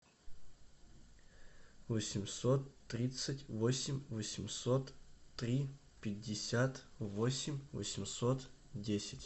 восемьсот тридцать восемь восемьсот три пятьдесят восемь восемьсот десять